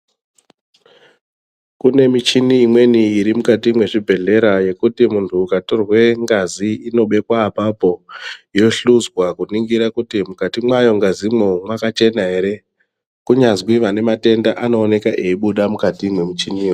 Kunemichini imweni irimukati mezvibhedhlera yekuti muntu ukatorwe ngazi inobekwa apapo, yohluzwa kuningira kuti mukati mwayo ngazi mo makachena here. Kunyazvi vanematenda anowoneka eyibhuda mukati momuchini yoyo.